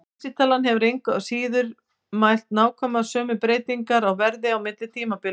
Vísitalan hefði engu að síður mælt nákvæmlega sömu breytingar á verði á milli tímabila.